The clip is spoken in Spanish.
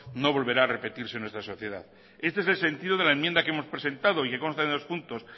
no volverá a repetirse en nuestra sociedad este es el sentido de la enmienda que hemos presentado y que consta en dos puntos